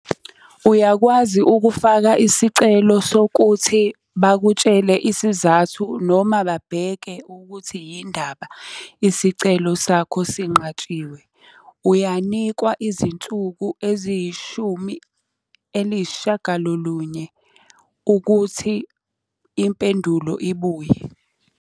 Uyakwazi ukufaka isicelo sokuthi bakutshele isizathu noma babheke ukuthi yinindaba isicelo sakho sinqatshiwe. Uyanikwa izinsuku eziyishumi eliyisishiyagalolunye ukuthi impendulo ibuye.